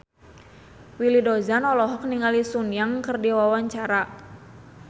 Willy Dozan olohok ningali Sun Yang keur diwawancara